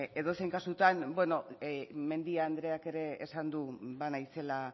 edozein kasutan bueno mendia andreak ere esan du banaizela